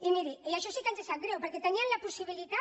i miri això sí que ens sap greu perquè tenien la possibilitat